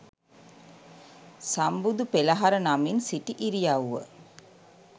සම්බුදු පෙළහර නමින් සිටි ඉරියව්ව